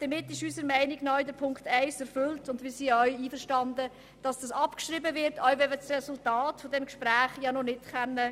Damit ist unserer Meinung nach Punkt 1 der Motion erfüllt, und wir sind damit einverstanden, diesen abschreiben zu lassen, selbst wenn wir das Resultat dieses Gesprächs noch nicht kennen.